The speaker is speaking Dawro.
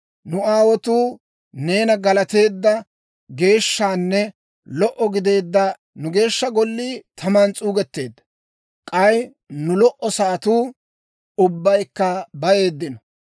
Nu aawotuu neena galateedda geeshshanne lo"o gideedda nu Geeshsha Gollii taman s'uugetteedda; k'ay nu lo"o sa'atuu ubbaykka bayeeddino.